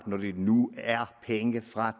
når det nu er penge fra